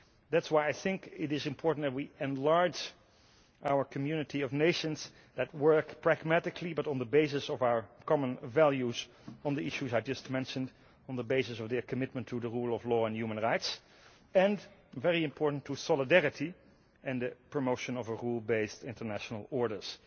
That is why I think it is important that we enlarge our community of nations that work pragmatically, but on the basis of our common values, on the issues I just mentioned, on the basis of their commitment to the rule of law and human rights and, very important, to solidarity and promotion of rule based international orders.